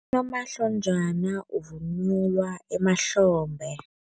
Unomahlonjana uvunulwa emahlombe.